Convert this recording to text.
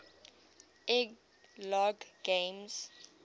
ed logg games